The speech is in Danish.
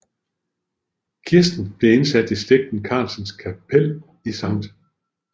Kisten blev indsat i slægten Carlsens Kapel i Sct